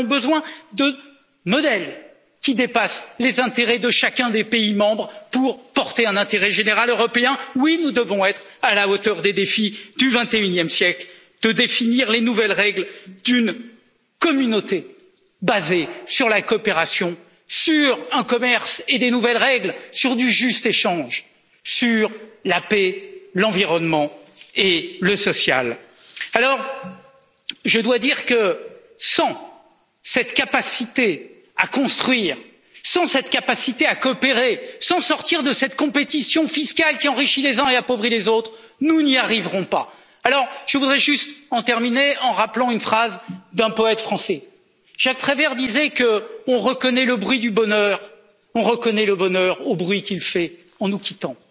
seule voix. Nous avons besoin de modèles qui dépassent les intérêts de chacun des pays membres pour porter un intérêt général européen. Oui, nous devons être à la hauteur des défis du vingt et unième siècle, définir les nouvelles règles d'une communauté basée sur la coopération, sur un commerce et des nouvelles règles, sur du juste échange, sur la paix, l'environnement et le social. Je dois dire que sans cette capacité à construire, sans cette capacité à coopérer, sans sortir de cette compétition fiscale qui enrichit les uns et appauvrit les autres, nous n'y arriverons pas. Je voudrais juste terminer en rappelant une phrase d'un poète français. Jacques Prévert disait que l'on reconnaît le bonheur au bruit qu'il fait en